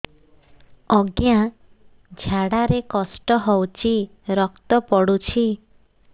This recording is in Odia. ଅଜ୍ଞା ଝାଡା ରେ କଷ୍ଟ ହଉଚି ରକ୍ତ ପଡୁଛି